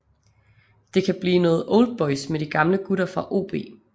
Det kan blive noget oldboys med de gamle gutter fra OB